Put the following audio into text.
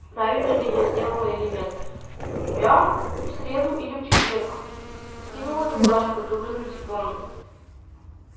правильно ли я сделала или нет я в среду или в четверг скинула милашка говорю типа